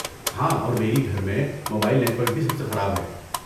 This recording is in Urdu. ہاں، اور میری گھر میں موبائل نیٹ ورک بھی سب سے خراب ہے۔